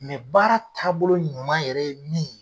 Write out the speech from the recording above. baara taabolo ɲuman yɛrɛ ye min ye